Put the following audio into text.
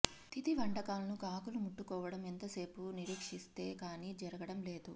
తిథి వంటకాలను కాకులు ముట్టుకోవడం ఎంతోసేపు నిరీక్షిస్తే కానీ జరగడం లేదు